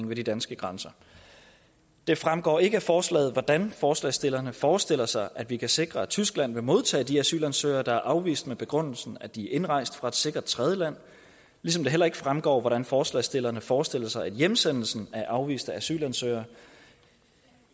ved de danske grænser det fremgår ikke af forslaget hvordan forslagsstillerne forestiller sig at vi kan sikre at tyskland vil modtage de asylansøgere der er afvist med begrundelsen at de er indrejst fra et sikkert tredjeland ligesom det heller ikke fremgår hvordan forslagsstillerne forestiller sig at hjemsendelsen af afviste asylansøgere